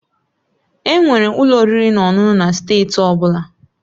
Enwere ụlọ oriri na ọṅụṅụ na steeti ọ bụla